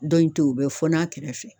Don in to ye o be fɔn'a kɛrɛfɛ